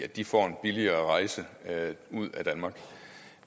de får en billigere rejse ud af danmark